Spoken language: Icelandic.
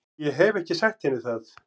Ég hef ekki sagt henni það.